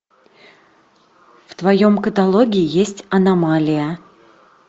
в твоем каталоге есть аномалия